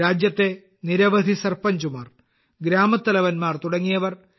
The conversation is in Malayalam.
രാജ്യത്തെ നിരവധി സർപഞ്ചുമാർ ഗ്രാമത്തലവന്മാർ തുടങ്ങിയവർ ടി